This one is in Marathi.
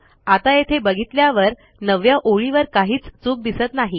आता येथे बघितल्यावर 9 व्या ओळीवर काहीच चूक दिसत नाही